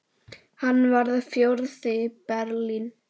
Hann varð fjórði í Berlín.